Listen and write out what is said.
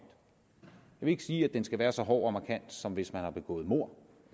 vil ikke sige at den skal være så hård og markant som hvis man har begået mord